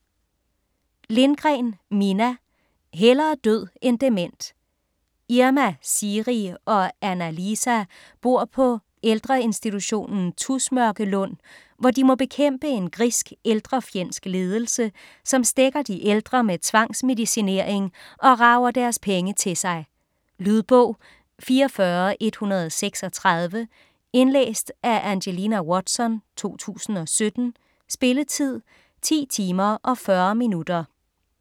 Lindgren, Minna: Hellere død end dement Irma, Siiri og Anna-Liisa bor på på ældreinstitutionen Tusmørkelund, hvor de må bekæmpe en grisk, ældrefjendsk ledelse, som stækker de ældre med tvangsmedicinering og rager deres penge til sig. Lydbog 44136 Indlæst af Angelina Watson, 2017. Spilletid: 10 timer, 40 minutter.